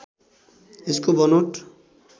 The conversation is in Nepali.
यसको बनोट